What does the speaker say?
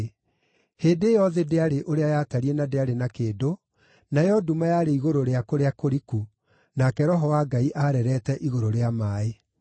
Hĩndĩ ĩyo thĩ ndĩarĩ ũrĩa yatariĩ na ndĩarĩ na kĩndũ, nayo nduma yarĩ igũrũ rĩa kũrĩa kũriku, nake Roho wa Ngai aareerete igũrũ rĩa maaĩ.